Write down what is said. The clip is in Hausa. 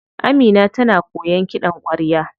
Amina tana koyan kiɗan kwarya.